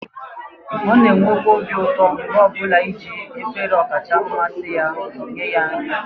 ọ na-enwekwa obi ụtọ mgbe ọ bụla i jiri efere ọkacha mmasị ya nye ya nri